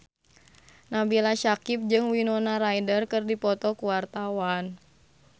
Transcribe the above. Nabila Syakieb jeung Winona Ryder keur dipoto ku wartawan